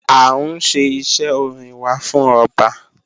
A nṣẹ̀ ìṣẹ̀ ọ̀rìn wà fún ọbá.